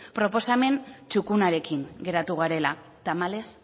proposamen txukunarekin geratu garela tamalez